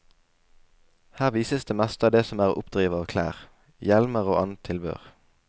Her vises det meste av det som er å oppdrive av klær, hjelmer og annet tilbehør.